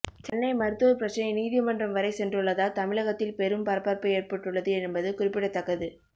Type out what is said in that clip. சென்னை மருத்துவர் பிரச்சினை நீதிமன்றம் வரை சென்றுள்ளதால் தமிழகத்தில் பெரும் பரபரப்பு ஏற்பட்டுள்ளது என்பது குறிப்பிடத்தக்கது